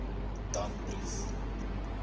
danbrief